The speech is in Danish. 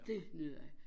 Dét nød jeg